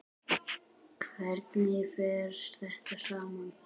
Hvernig fer þetta saman?